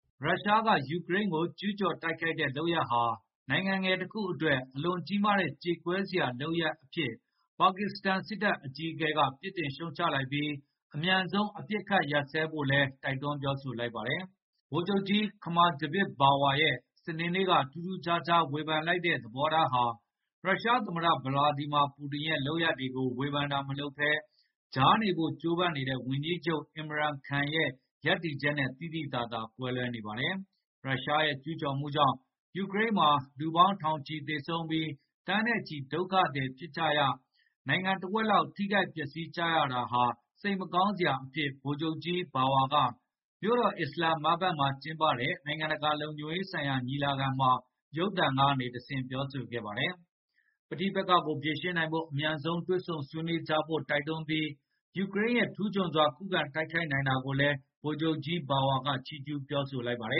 ရုရှားက ယူကရိန်းကို ကျူးကျော်တိုက်ခိုက်တဲ့ လုပ်ရပ်ဟာ နိုင်ငံငယ်တခုအတွက် အလွန်ကြီးမားတဲ့ ကြေကွဲစရာလုပ်ရပ်အဖြစ် ပါကစ္စတန်စစ်တပ် အကြီးအကဲက ပြစ်တင်ရှုတ်ချလိုက်ပြီး အမြန်ဆုံး အပစ်အခတ် ရပ်စဲဖို့လည်း တိုက်တွန်း ပြောဆိုလိုက်ပါတယ်။ ဗိုလ်ချုပ်ကြီး Qamar Javed Bajwa ရဲ့ စနေနေ့က ထူးထူးခြားခြား ဝေဖန်လိုက်တဲ့ သဘောထားဟာ ရုရှားသမ္မတ Vladimir Putin ရဲ့ လုပ်ရပ်တွေကို ဝေဖန်တာတွေ မလုပ်ဘဲ ကြားနေဖို့ ကြိုးပမ်းနေတဲ့ ဝန်ကြီးချုပ် Imran Khan ရဲ့ ရပ်တည်ချက်နဲ့ သိသိသာသာ ကွဲလွဲနေပါတယ်။ ရုရှားရဲ့ ကျူးကျော်မှုကြောင့် ယူကရိန်းမှာ လူပေါင်းထောင်ချီသေဆုံးပြီး သန်းနဲ့ချီ ဒုက္ခသည်ဖြစ်ကြရ၊ နိုင်ငံတဝက်လောက် ထိခိုက်ပျက်စီးရတာဟာ စိတ်မကောင်းစရာအဖြစ် ဗိုလ်ချုပ်ကြီး Bajwa က မြို့တော် အစ္စလာမ်မာဘတ်မှာ ကျင်းပတဲ့ နိုင်ငံတကာ လုံခြုံရေးဆိုင်ရာ ညီလာခံမှာ ရုပ်သံကနေတဆင့် ပြောဆိုခဲ့ပါတယ်။ ပဋိပက္ခကို ဖြေရှင်းနိုင်ဖို့ အမြန်ဆုံး တွေ့ဆုံဆွေးနွေးကြဖို့ တိုက်တွန်းလိုက်ပြီး ယူကရိန်းရဲ့ ထူးချွန်စွာ ခုခံတိုက်ခိုက်နိုင်တာကိုလည်း ဗိုလ်ချုပ်ကြီး Bajwa က ချီးကျူး ပြောဆိုလိုက်ပါတယ